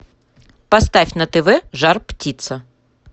поставь на тв жар птица